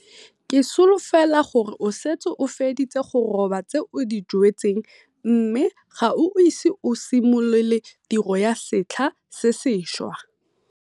Ke solofela gore o setse o feditse go roba tse o di jwetseng mme ga o ise o simolole tiro ya setlha se sešwa.